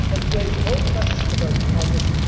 Let us raise no question about deposits.